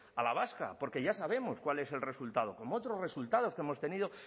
a la vasca porque ya sabemos cuál es el resultado como otros resultados que hemos tenido